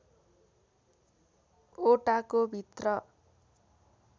ओटाको भित्र